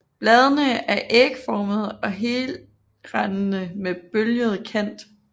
Bladene er ægformede og helrandede med bølget kant